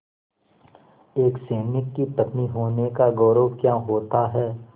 एक सैनिक की पत्नी होने का गौरव क्या होता है